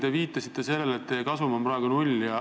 Te viitasite sellele, et teie kasum on praegu null.